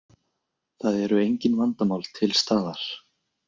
Það eru engin vandamál til staðar